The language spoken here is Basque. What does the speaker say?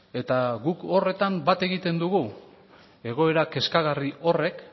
eta guk horretan bat egiten dugu egoera kezkagarri horrek